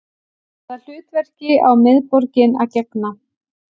Hvaða hlutverki á miðborgin að gegna